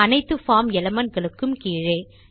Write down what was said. அனைத்து form element களுக்கும் கீழே